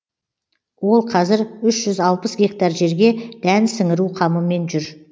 ол қазір үш жүз алпыс гектар жерге дән сіңіру қамымен жүр